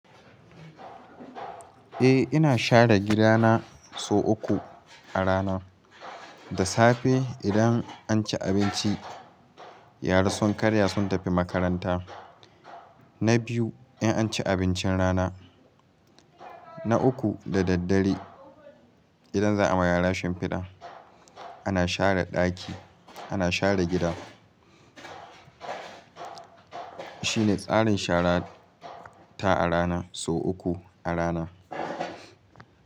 Eh ina share gida na sau uku a rana. Da safe idan an ci abinci yara sun karya sun tafi makaranta. Na biyu in an ci abincin rana. Na uku da daddare idan za'a ma yara shimfida ana share ɗaki ana share gida. Shine tsarin shara ta a rana sau uku a rana.